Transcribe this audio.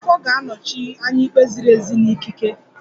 The Ofo ga-anọchi anya ikpe ziri ezi na ikike